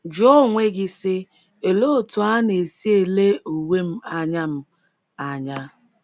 Jụọ onwe gị, sị: ‘ Olee otú a na - esi ele uwe m anya m anya?